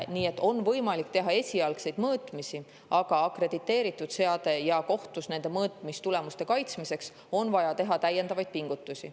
Nii et on võimalik teha esialgseid mõõtmisi, aga seadme akrediteeringu jaoks ja mõõtmistulemuste kaitsmiseks kohtus on vaja teha täiendavaid pingutusi.